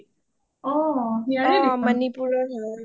অ অ মণিপুৰ ৰ হয়